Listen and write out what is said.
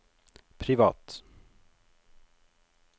privat